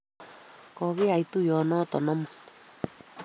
Ko kiyai tuyonotok amut